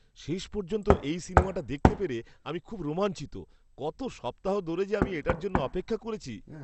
শেষ পর্যন্ত এই সিনেমাটা দেখতে পেরে আমি খুব রোমাঞ্চিত! কত সপ্তাহ ধরে যে আমি এটার জন্য অপেক্ষা করেছি!